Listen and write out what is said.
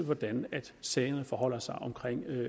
hvordan sagerne forholder sig og